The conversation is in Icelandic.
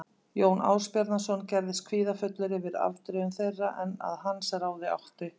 Jón Ásbjarnarson gerðist kvíðafullur yfir afdrifum þeirra en að hans ráði átti